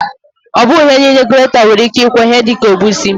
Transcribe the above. Ọbụghị ihe niile ka greta nwere ike ịkwọ, ihe dịka egusi